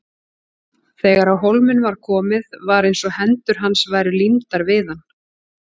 Þegar á hólminn var komið var eins og hendur hans væru límdar við hann.